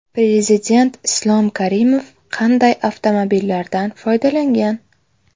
Prezident Islom Karimov qanday avtomobillardan foydalangan?